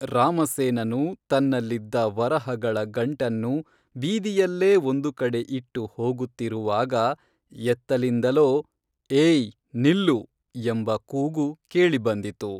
ರಾಮಸೇನನು ತನ್ನಲ್ಲಿದ್ದ ವರಹಗಳ ಗಂಟನ್ನು ಬೀದಿಯಲ್ಲೇ ಒಂದು ಕಡೆ ಇಟ್ಟು ಹೋಗುತ್ತಿರುವಾಗ ಎತ್ತಲಿಂದಲೋ ಏಯ್‌ ನಿಲ್ಲು, ಎಂಬ ಕೂಗು ಕೇಳಿ ಬಂದಿತು